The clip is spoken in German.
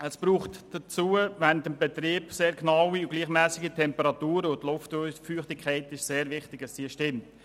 Es braucht dazu während des Betriebs sehr genaue und gleichmässige Temperaturen, und die Luftfeuchtigkeit muss unbedingt stimmen.